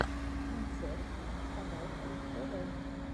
концерт вставалкин тв